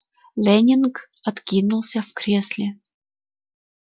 лэннинг откинулся в кресле